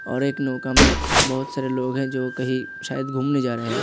और एक नौका मे बहुत सारे लोग है जो कहीं शायद घूमने जा रहे है।